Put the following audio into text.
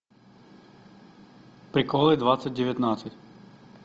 приколы двадцать девятнадцать